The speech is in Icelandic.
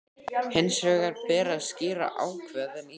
Hins vegar ber að skýra ákvæðin í